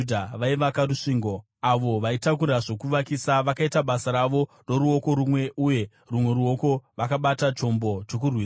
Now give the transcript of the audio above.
vaivaka rusvingo. Avo vaitakura zvokuvakisa vakaita basa ravo noruoko rumwe uye rumwe ruoko vakabata chombo chokurwisa,